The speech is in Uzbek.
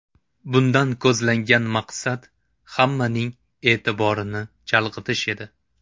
Bundan ko‘zlangan maqsad hammaning e’tiborini chalg‘itish edi.